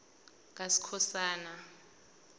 kaskhosana